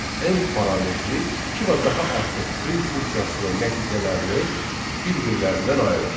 End parametri iki və daha artıq print funksiyasının nəticələrini bir-birlərindən ayırır.